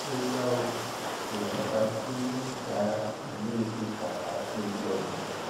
ó ga ọ èèyàn mẹta kú nínú nínú ìjà ìlú ifon àti ìlọbù